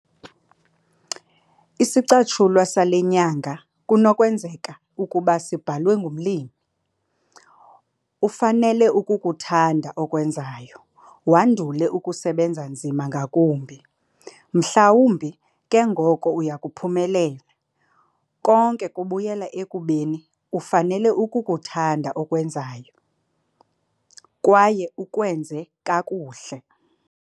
Isicatshulwa sale nyanga kunokwenzeka ukuba sibhalwe ngumlimi - ufanele ukukuthanda okwenzayo, wandule ukusebenza nzima ngakumbi, mhlawumbi ke ngoko uya kuphumelela. Konke kubuyela ekubeni ufanele ukukuthanda okwenzayo kwaye ukwenze kakuhle.